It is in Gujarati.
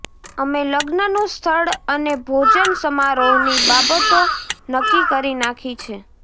અમે લગ્નનું સ્થળ અને ભોજન સમારોહની બાબતો નક્કી કરી નાખી છે